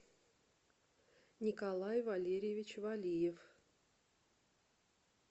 николай валерьевич валиев